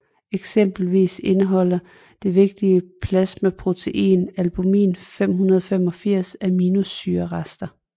Eksempelvis indeholder det vigtige plasmaprotein albumin 585 aminosyrerester